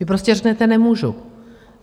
Vy prostě řeknete: Nemůžu.